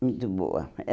Muito boa.